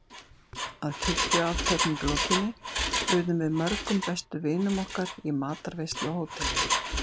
Að kirkjuathöfn lokinni buðum við mörgum bestu vinum okkar í matarveislu á hótelinu.